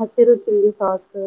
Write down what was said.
ಹಸಿರು chilli sauce .